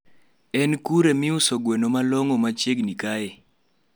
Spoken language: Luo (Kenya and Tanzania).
en kure miuso gweno malong machiegni kae